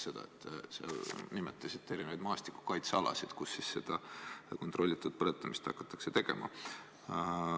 Te ju nimetasite maastikukaitsealad, kus seda kontrollitud põletamist hakatakse tegema.